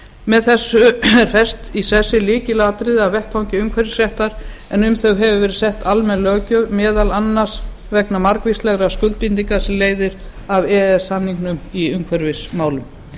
með þessu eru fest í sessi lykilatriði af vettvangi umhverfisréttarins en um þau hefur verið sett almenn löggjöf meðal annars vegna margvíslegra skuldbindinga sem leiða af e e s samningnum í umhverfismálum